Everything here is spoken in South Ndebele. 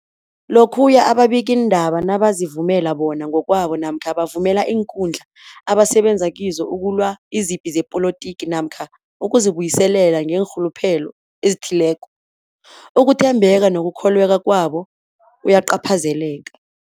Lokhuya ababikiindaba nabazivumela bona ngokwabo namkha bavumele iinkundla abasebenza kizo ukulwa izipi zepolitiki namkha ukuzi buyiselela ngeenrhuluphelo ezithileko, ukuthembeka nokukholweka kwabo kuyacaphazeleka.